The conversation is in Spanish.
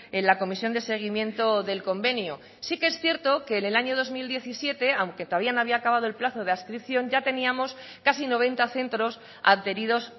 en la comisión de seguimiento del convenio sí que es cierto que en el año dos mil diecisiete aunque todavía no había acabado el plazo de adscripción ya teníamos casi noventa centros adheridos